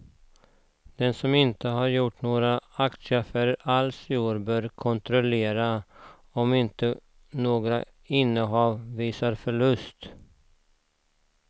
Den som inte har gjort några aktieaffärer alls i år bör kontrollera om inte några innehav visar förlust.